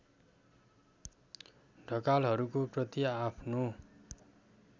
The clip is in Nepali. ढकालहरूको प्रति आफ्नो